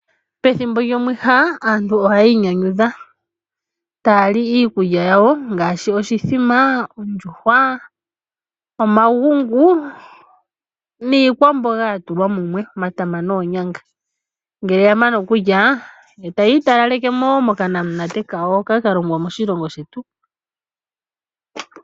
Pethimbo lyomwiha aantu ohaya inyanyudha taya li iikulya yawo ngaashi oshithima, ondjuhwa , omagungu niikwamboga yatulwa mumwe omatama noonyanga . Ngele yamana okulya, ohaya italalekemo mokanamunate kawo hoka kalongwa moshilongo shetu.